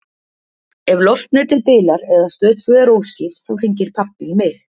Ef loftnetið bilar eða Stöð tvö er óskýr þá hringir pabbi í mig.